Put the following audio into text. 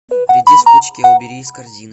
редис в пучке убери из корзины